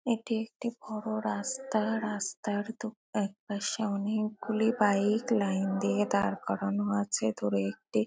এটি একটি বড়ো রাস্তা। রাস্তার দু একপাশে অনেকগুলি বাইক লাইন দিয়ে দাঁড় করানো আছে। দূরে একটি --